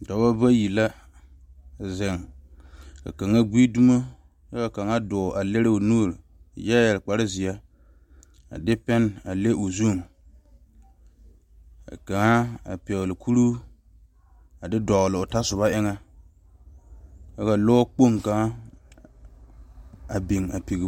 Noba bayi la zeŋ ka kaŋa gbe domo kyɛ ka kaŋa dɔɔ a leri o nuure kyɛ yeere kpare ziɛ a de pene a le o zu ka kaŋ a pegle Kuro a de doɔloo tasoba eŋa ka lɔ kpoŋ kaŋa a biŋ a piŋ.